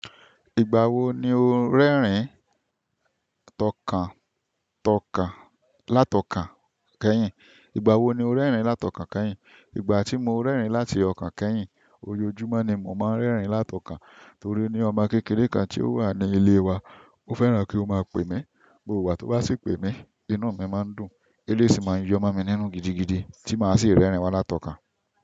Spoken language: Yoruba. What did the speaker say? Ìgbà wo ni o ń rẹ́rìn látọkàn kẹ́yìn? Ìgbà tí mo rẹ́rìn láti ọ̀kàn kẹ́yìn, ojojúmọ́ ni mo máa ń rẹ́rìn látọkàn torí ọmọ kékeré kan tí ó wà ní ilé wa, ó fẹ́ràn kí ó máa pè mí. Gbogbo ìgbà tó bá sì pè mí, inú mi máa ń dùn, eléyi si máa ń yọ́mọ mi nínú gidigidi tí màá sì rẹ́rìn wá látọkan.